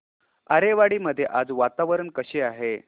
आरेवाडी मध्ये आज वातावरण कसे आहे